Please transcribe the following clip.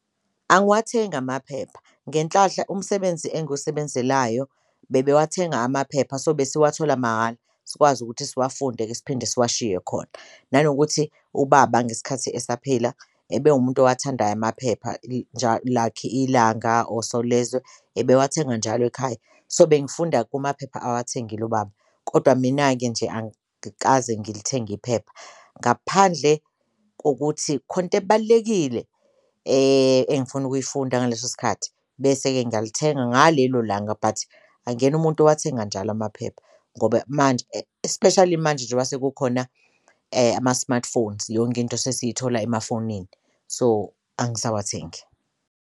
Angiwathengi amaphepha ngenhlahla umsebenzi enguwusebenzelayo bebewathenga amaphepha so besiwathola mahhala sikwazi ukuthi siwafunde-ke siphinde siwashiye khona, nanokuthi ubaba ngesikhathi esaphila ebewumuntu owathandayo amaphepha njalo like Ilanga or Solezwe ebewathenga njalo ekhaya so, bengifunda kumaphepha awathengile ubaba. Kodwa mina-ke nje angikaze ngilithenge iphepha ngaphandle kokuthi khona into ebalulekile engifuna ukuyifunda ngaleso sikhathi bese-ke ngiyalithenga ngalelo langa, but angiyena umuntu owathenga njalo amaphepha ngoba manje especially manje sekukhona ama-smartphones yonke into sesiyithola emafonini so, angisawathengi.